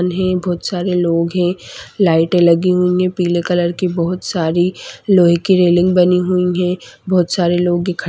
उन्हें बहुत सारे लोग हैं लाइट -ए लगी हुई है पीले कलर की बहुत सारी लोहे की रेलिंग बनी हुई है बहुत सारे लोग दिखा--